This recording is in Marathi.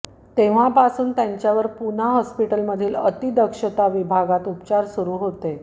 तेव्हापासून त्यांच्यावर पुना हॉस्पिटलमधील अतिदक्षता विभागात उपचार सुरू होते